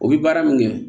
O bi baara min kɛ